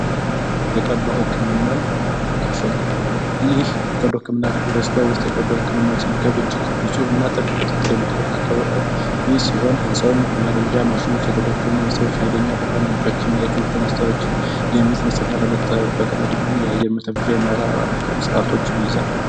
የቀዶ ህክምና ክፍል ይህም የተለያዩ ማሽኖች ብርሃን ምንጮች እና ለመጠራቶችን ይይዛል።